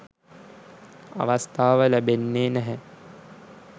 අවස්ථාව ලැබෙන්නෙ නැහැ.